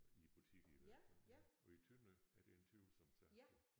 I butikkerne i hvert fald ja og i Tønder er det en tvivlsom sag